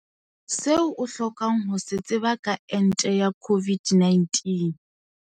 Se o hlokang ho se tseba ka ente ya COVID-19.